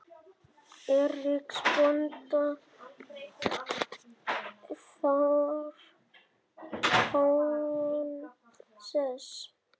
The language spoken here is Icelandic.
Eiríks bónda þar háan sess.